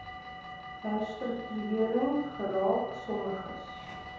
herstruktuering geraak sommiges